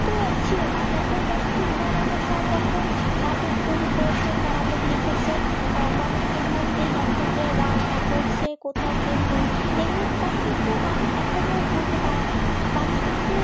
কিন্তু ছিল না নব্বই দশকে হুমাইন্নার সাহেব যখন নাটক তৈরি করেছেন বা নাটক লিখেছেন তার মধ্যে আমি উদাহরণ দি নক্ষত্রের রাত তারপর হচ্ছে কোথাও কেউ নেই এগুলোর কথা কিন্তু মানুষ এখনো ভুলতে পারে না মানুষ কিন্তু